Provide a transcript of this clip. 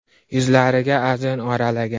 Yuzlariga ajin oralagan.